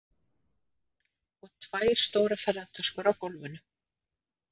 Og tvær stórar ferðatöskur á gólfinu.